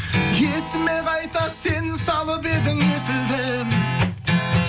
есіме қайта сен салып едің есілден